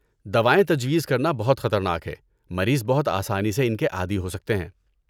دوائیں تجویز کرنا بہت خطرناک ہے۔ مریض بہت آسانی سے ان کے عادی ہو سکتے ہیں۔